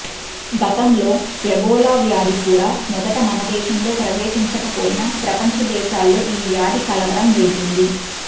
గతంలో ఎబోలా వ్యాధి కూడా మొదట మనదేశంలో ప్రవేశించకపోయినా ప్రపంచ దేశాల్లో ఈ వ్యాధి కలవరం రేపింది